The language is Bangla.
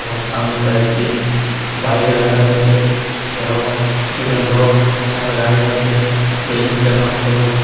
এবং সামনে কয়েকটি বাইক রাখা রয়েছে এবং দুজন লোক সামনে দাঁড়িয়ে আছে বিল্ডিং টার রং সবুজ।